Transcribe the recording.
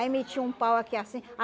Aí metia um pau aqui, assim.